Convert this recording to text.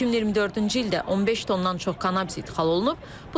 2024-cü ildə 15 tondan çox kannabis ixrac olunub.